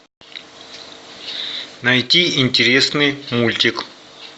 найти интересный мультик